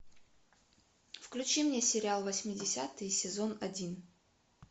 включи мне сериал восьмидесятые сезон один